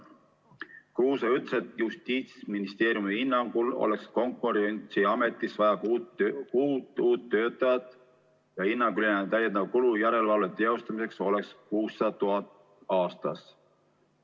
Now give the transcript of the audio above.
Kruuse ütles, et Justiitsministeeriumi hinnangul oleks Konkurentsiametis vaja kuut uut töötajat ja hinnanguliselt on täiendav kulu järelevalve teostamiseks 600 000 eurot aastas.